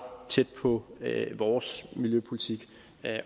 tæt på vores miljøpolitik